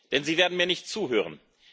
Denn Sie werden mir nicht zuhören.